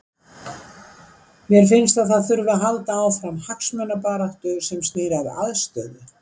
Mér finnst að það þurfi að halda áfram hagsmunabaráttu sem snýr að aðstöðu.